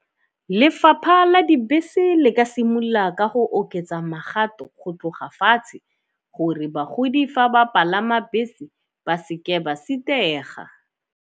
Lefapha la dibese le ka simolola ka go oketsa magato go tloga fatshe, gore bagodi fa ba palama bese ba seke ba sitega.